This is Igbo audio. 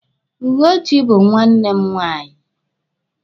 Ugochi bụ nwanne m nwaanyị.